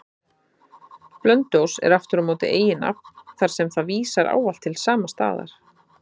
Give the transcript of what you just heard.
Blönduós er aftur á móti eiginnafn, þar sem það vísar ávallt til sama staðar.